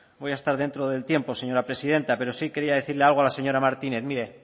voy a estar dentro del tiempo señora presidenta pero sí quería decirle algo a la señora martínez mire